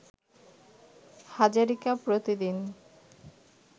হাজারিকা প্রতিদিন